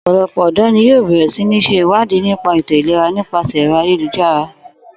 Ò̩pò̩lo̩pò̩ ò̩dò̩ ni yóò bè̩rè̩ sí ní s̩e ìwádìí nípa ètò-ìlera nípàse̩ è̩ro̩ ayélujára